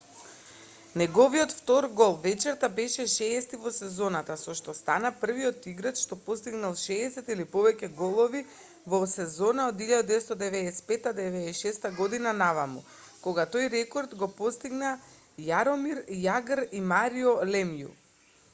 неговиот втор гол вечерта беше 60-ти во сезоната со што стана првиот играч што постигнал 60 или повеќе голови во сезона од 1995-96 година наваму кога тој рекорд го постигнаа јаромир јагр и марио лемју